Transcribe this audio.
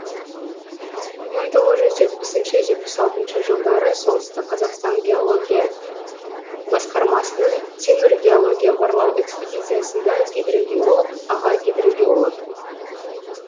мың тоғыз жүз жетпісінші жетпіс алтыншы солтүстік қазақстан геология басқармасының темір геология барлау экспедициясында гидрогеолог аға гидрогеолог